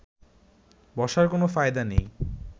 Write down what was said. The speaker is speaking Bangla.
বসার কোনো ফায়দা নেই